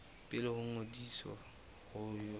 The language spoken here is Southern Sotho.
pele ho ngodiso ho ya